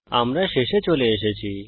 আমরা শেষে চলে এসেছি